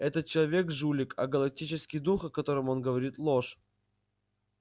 этот человек жулик а галактический дух о котором он говорит ложь